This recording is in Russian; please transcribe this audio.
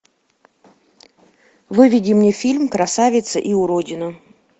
выведи мне фильм красавица и уродина